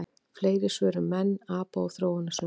Fleiri svör um menn, apa og þróunarsöguna: